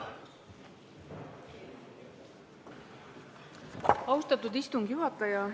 Austatud istungi juhataja!